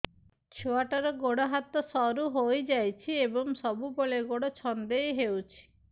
ଛୁଆଟାର ଗୋଡ଼ ହାତ ସରୁ ହୋଇଯାଇଛି ଏବଂ ସବୁବେଳେ ଗୋଡ଼ ଛଂଦେଇ ହେଉଛି